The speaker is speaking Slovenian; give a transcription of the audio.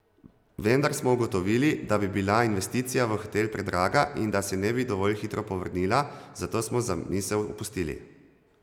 Vendar smo ugotovili, da bi bila investicija v hotel predraga in da se ne bi dovolj hitro povrnila, zato smo zamisel opustili.